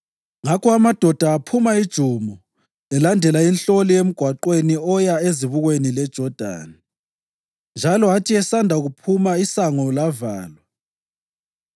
Ngakho amadoda aphuma ijumo elandela inhloli emgwaqweni oya ezibukweni leJodani, njalo athi esanda kuphuma isango lavalwa.